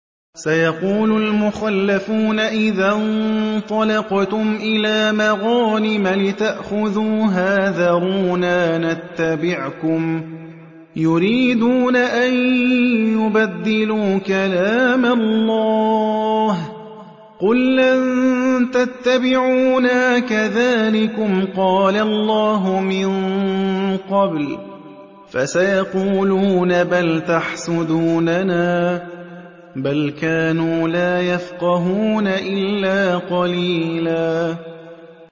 سَيَقُولُ الْمُخَلَّفُونَ إِذَا انطَلَقْتُمْ إِلَىٰ مَغَانِمَ لِتَأْخُذُوهَا ذَرُونَا نَتَّبِعْكُمْ ۖ يُرِيدُونَ أَن يُبَدِّلُوا كَلَامَ اللَّهِ ۚ قُل لَّن تَتَّبِعُونَا كَذَٰلِكُمْ قَالَ اللَّهُ مِن قَبْلُ ۖ فَسَيَقُولُونَ بَلْ تَحْسُدُونَنَا ۚ بَلْ كَانُوا لَا يَفْقَهُونَ إِلَّا قَلِيلًا